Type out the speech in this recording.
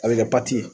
A bɛ kɛ